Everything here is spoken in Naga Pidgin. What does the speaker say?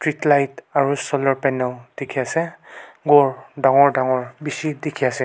treetlight aro solar panel dikhiase ghor dangor dangor bishi dikhi ase.